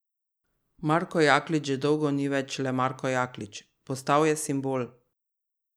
Marko Jaklič že dolgo ni več le Marko Jaklič, postal je simbol.